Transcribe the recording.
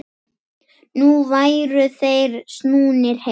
Nú væru þeir snúnir heim.